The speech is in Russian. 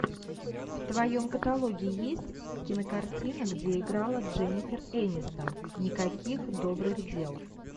в твоем каталоге есть кинокартина где играла дженнифер энистон никаких добрых дел